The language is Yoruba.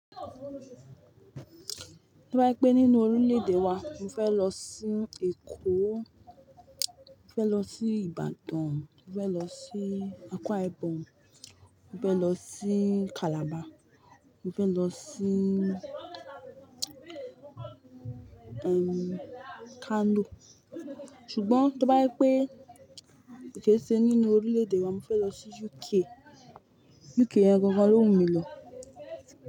Tí ó bá jé pé nínú orílẹ̀-èdè wa, mo fẹ́ lọ sí Èkó, mo fẹ́ lọ sí Ìbàdàn, mo fẹ́ lọ sí Àkwa Ibom, mo fẹ́ lọ sí Calabar, mo fẹ́ lọ sí, erm, Kano. Ṣùgbọ́n tí ó bá jẹ́ pé kè ṣe nínú orílẹ̀-èdè wa, mo fẹ́ lọ sí UK. UK yẹn gangan ló wù mí lò.